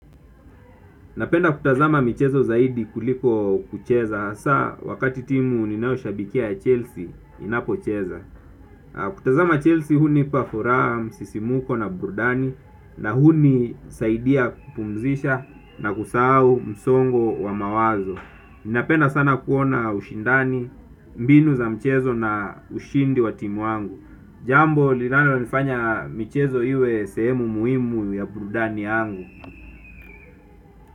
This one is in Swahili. Napenda kutazama michezo zaidi kuliko kucheza, hasa wakati timu ninayoshabikia ya Chelsea inapocheza. Kutazama Chelsea hunipa furaha, msisimko na burudani na hunisaidia kupumzisha na kusahau msongo wa mawazo. Napenda sana kuona ushindani, mbinu za mchezo na ushindi wa timu wangu. Jambo lilanonifanya michezo iwe sehemu muhimu ya burudani yangu.